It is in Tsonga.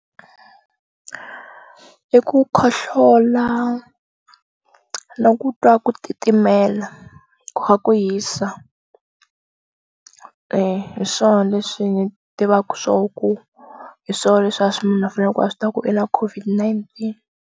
I ku khohlola na ku twa ku titimela ku kha ku hisa hi swona leswi ni tivaku swo ku hi swo leswi a swi munhu a faneleke ku a swi tiva ku i na COVID-19.